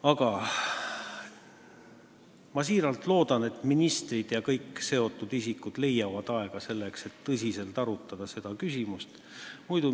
Aga ma siiralt loodan, et ministrid ja kõik seotud isikud leiavad aega, et tõsiselt seda küsimust arutada.